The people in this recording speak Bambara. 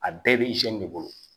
A bɛɛ bɛ de bolo